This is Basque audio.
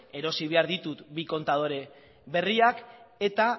erosi behar ditut bi kontadore berriak eta